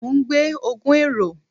Mo n gbe ogun ero